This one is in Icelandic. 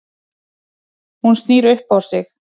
Hún snýr upp á sig.